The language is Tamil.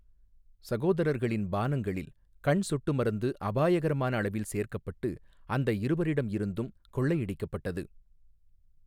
சகோதரர்களின் பானங்களில் கண் சொட்டு மருந்து அபாயகரமான அளவில் சேர்க்கப்பட்டு அந்த இருவரிடம் இருந்தும் கொள்ளையடிக்கப்பட்டது.